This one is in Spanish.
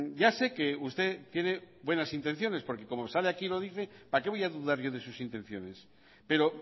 ya sé que usted tiene buenas intenciones porque como sale aquí y lo dice para qué voy a dudar yo de sus intenciones pero